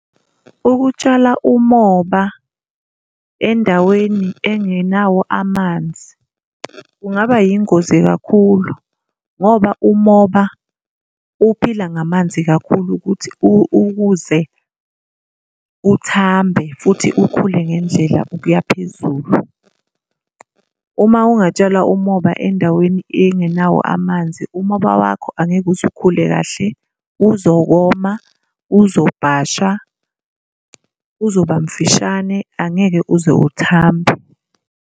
Ukutshala umoba endaweni engenawo amanzi kungaba yingozi kakhulu, ngoba umoba uphila ngamanzi kakhulu ukuthi ukuze uthambe futhi ukhule ngendlela ukuya phezulu. Uma ungatshala umoba endaweni engenawo amanzi, umoba wakho angeke uze ukhule kahle, uzokoma, uzobhasha, uzoba mfishane, angeke uze uthambe.